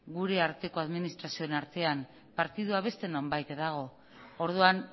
gure arteko administrazioen artean partidua beste nonbaiten dago orduan